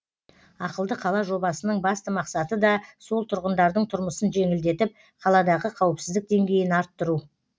ақылды қала жобасының басты мақсаты да сол тұрғындардың тұрмысын жеңілдетіп қаладағы қауіпсіздік деңгейін арттыру